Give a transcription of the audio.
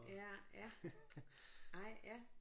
Ja ja ej ja